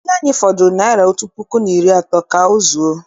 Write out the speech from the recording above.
Ego anyị fọdụrụ naịra otu puku na iri atọ ka ọ zuo.